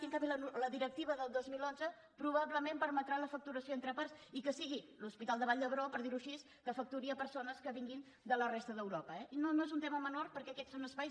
i en canvi la directiva del dos mil onze probablement permetrà la facturació entre parts i que sigui l’hospital de vall d’hebron per dir ho així que facturi a persones que vinguin de la resta d’europa eh i no no no és un tema menor perquè aquests són espais